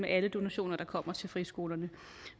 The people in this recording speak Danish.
alle donationer der kommer til friskolerne